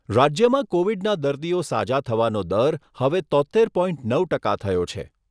રાજ્યમાં કોવિડના દર્દીઓ સાજા થવાનો દર હવે તોત્તેર પોઇન્ટ નવ ટકા થયો છે.